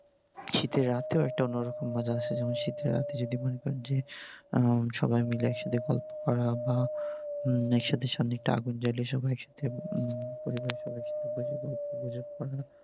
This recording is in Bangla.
শীতের রাতেও একটা অন্য রকম মজা আসে, যেমন শীতের রাতে যদি মনে করেন যে সবাই মিলে একসাথে গল্প করা বা উম একসাথে সামনে একটা আগুন জ্বালিয়ে পরিবারের সবাই একসাথে বসে গল্প গুজব করা